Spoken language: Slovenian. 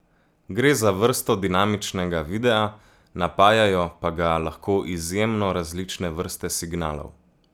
Gre za vrsto dinamičnega videa, napajajo pa ga lahko izjemno različne vrste signalov.